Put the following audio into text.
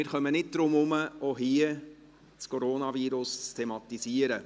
Wir kommen jedoch nicht darum herum, auch hier das Coronavirus zu thematisieren.